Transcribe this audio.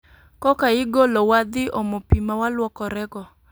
Koka igolowa dhi omo pi mawaluokore go